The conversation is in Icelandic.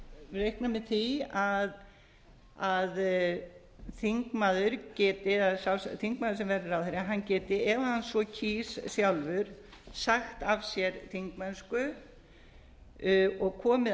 vegar reiknar með því að þingmaður geti eða þingmaður sem verður ráðherra hann geti ef hann á kýs sjálfur sagt af sér þingmennsku og komið